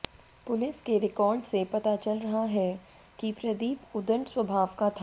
police के record से पता चल रहा है कि प्रदीप उदंड स्वाभाव का था